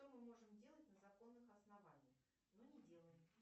что мы можем делать на законных основаниях но не делаем